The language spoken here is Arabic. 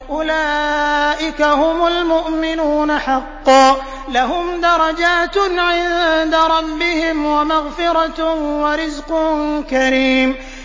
أُولَٰئِكَ هُمُ الْمُؤْمِنُونَ حَقًّا ۚ لَّهُمْ دَرَجَاتٌ عِندَ رَبِّهِمْ وَمَغْفِرَةٌ وَرِزْقٌ كَرِيمٌ